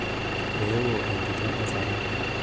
euo entito e saruni